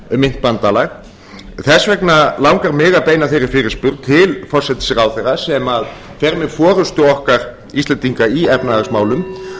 um myntbandalag þess vegna langar mig að beina þeirri fyrirspurn til forsætisráðherra sem fer með forustu okkar íslendinga í efnahagsmálum